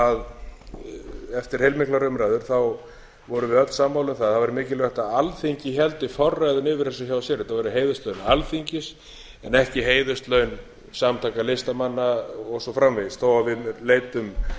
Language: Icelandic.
að eftir heilmiklar umræður vorum við öll sammála um það að það væri mikilvægt að alþingi héldi forræðinu yfir þessu hjá sér þetta væru heiðurslaun alþingis en ekki heiðurslaun samtaka listamanna og svo framvegis þó við leitum